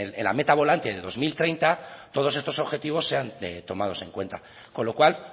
en la meta volante de dos mil treinta todos estos objetivos sean tomados en cuenta con lo cual